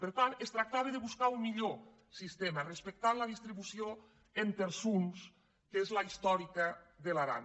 per tant es tractava de buscar un millor sistema respectant la distribució en terçons que és la històrica de l’aran